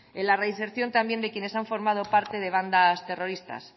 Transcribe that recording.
en la reinserción también de quienes han formado parte de bandas terroristas